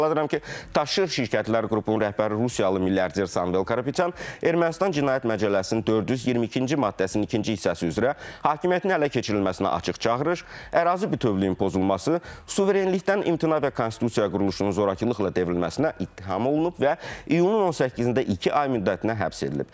Xatırladıram ki, Taşı r şirkətlər qrupunun rəhbəri rusiyalı milyarder Samvel Karapetyan Ermənistan Cinayət Məcəlləsinin 422-ci maddəsinin ikinci hissəsi üzrə hakimiyyətin ələ keçirilməsinə açıq çağırış, ərazi bütövlüyünün pozulması, suverenlikdən imtina və konstitusiya quruluşunun zorakılıqla devrilməsinə ittiham olunub və iyunun 18-də iki ay müddətinə həbs edilib.